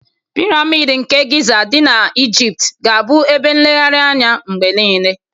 Piramid nke Giza dị na Ejipt ga-abụ ebe nlegharị anya mgbe niile.